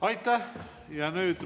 Aitäh!